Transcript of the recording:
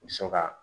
So ka